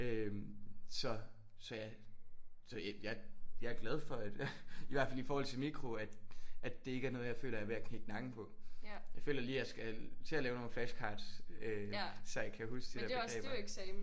Øh så så jeg så jeg jeg er glad for at i hvert fald i forhold til mikro at at det ikke er noget jeg føler jeg er ved at knække nakken på. Jeg føler lige at jeg skal til at lave nogle flash cards øh så jeg kan huske de der begreber